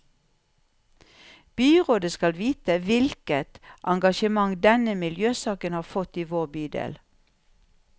Byrådet skal vite hvilket engasjement denne miljøsaken har fått i vår bydel.